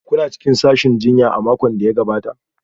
Kuna cikin sashin jinya a makon da ya gabata?